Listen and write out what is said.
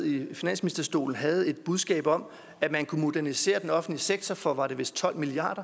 i finansministerstolen havde et budskab om at man kunne modernisere den offentlige sektor for var det vist tolv milliard